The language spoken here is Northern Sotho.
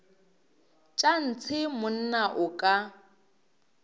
tša ntshe monna o ka